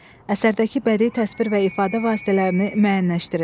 Əsərdəki bədii təsvir və ifadə vasitələrini müəyyənləşdirin.